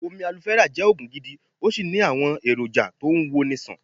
Omi Alofẹ́rà jẹ́ Ògùn gidi, ó sì ní àwọn èrò jà tó ń wo ni ṣàn.